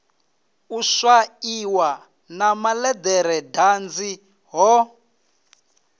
u swaiwa na malederedanzi ho